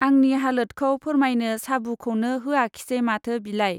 आंनि हालोतखौ फोरमायनो साबुखौनो होआखसै माथो बिलाय!